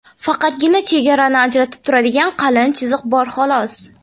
Faqatgina chegarani ajratib turadigan qalin chiziq bor xolos.